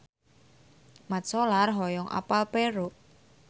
Mat Solar hoyong apal Peru